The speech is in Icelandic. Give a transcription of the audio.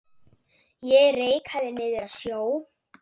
Ég reikaði niður að sjó.